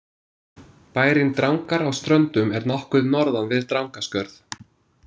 Bærinn Drangar á Ströndum er nokkuð norðan við Drangaskörð.